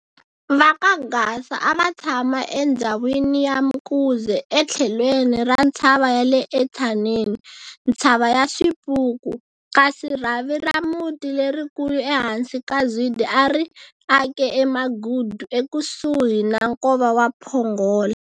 Vaka Gasa ava tshama endzhawini ya Mkuze ethlelweni ra ntshava yale eTshaneni, Ntshava ya Swipuku, kasi rhavi ra muti lerikulu ehansi ka Zwide a ri ake eMagudu ekusuhi na nkova wa Pongola.